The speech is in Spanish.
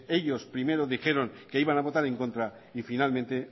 ellos primero dijeron que iban a votar en contra y finalmente